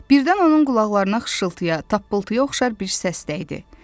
Birdən onun qulaqlarına xışıltıya, tappıltıya oxşar bir səs dəydi.